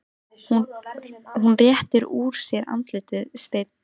Hún réttir úr sér, andlitið steinn.